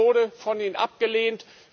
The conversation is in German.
Es wurde von Ihnen abgelehnt!